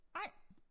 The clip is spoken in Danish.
Nej